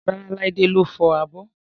Rárá, Laide ló fọ abọ́